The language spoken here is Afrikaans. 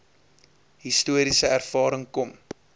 historiese ervaring kom